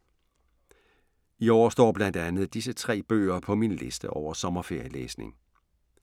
I år står blandt andet disse tre bøger på min liste over sommerferielæsning.